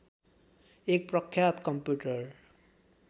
एक प्रख्यात कम्प्युटर